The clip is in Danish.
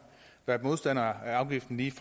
dennis